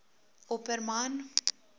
opperman